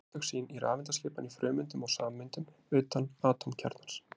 hún á upptök sín í rafeindaskipan í frumeindum og sameindum utan atómkjarnans